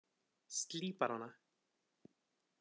Slípar hana.